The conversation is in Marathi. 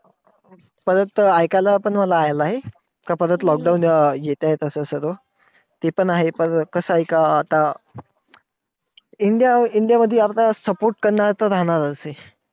परत ऐकायला पण आलं आहे, का परत lockdown येतायेत आता असं सर्व. ते पण आहे पर कसंय का आता इंडिया इंडिया मध्ये आता support करणारे तर राहणार चं आहे.